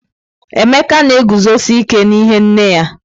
Emeka na-eguzosi ike n'ihe nne ya.